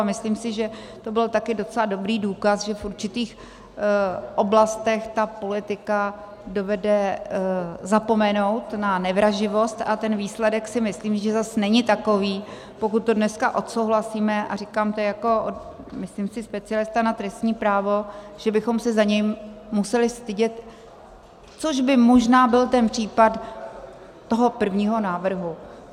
A myslím si, že to byl také docela dobrý důkaz, že v určitých oblastech ta politika dovede zapomenout na nevraživost, a ten výsledek si myslím, že zase není takový, pokud to dneska odsouhlasíme - a říkám to jako, myslím si, specialista na trestní právo, že bychom se za ním museli stydět, což by možná byl ten případ toho prvního návrhu.